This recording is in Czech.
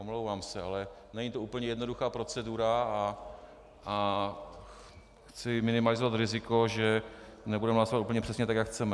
Omlouvám se, ale není to úplně jednoduchá procedura a chci minimalizovat riziko, že nebudeme hlasovat úplně přesně tak, jak chceme.